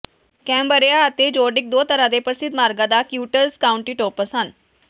Cambria ਅਤੇ Zodiaq ਦੋ ਤਰ੍ਹਾਂ ਦੇ ਪ੍ਰਸਿੱਧ ਮਾਰਗਾਂ ਦਾ ਕਿਊਟਜ ਕਾਉਂਟੀਟੌਪਸ ਹਨ